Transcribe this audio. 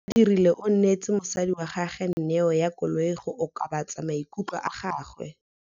Badirile o neetse mosadi wa gagwe neô ya koloi go okobatsa maikutlo a gagwe.